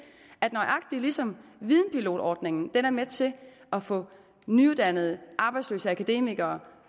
at nøjagtig ligesom videnpilotordningen er med til at få nyuddannede arbejdsløse akademikere